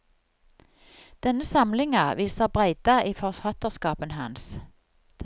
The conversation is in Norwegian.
Denne samlinga viser breidda i forfattarskapen hans.